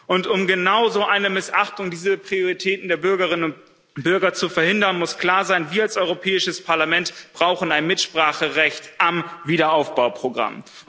Und um genau so eine Missachtung dieser Prioritäten der Bürgerinnen und Bürger zu verhindern, muss klar sein Wir als Europäisches Parlament brauchen ein Mitspracherecht am Wiederaufbauprogramm.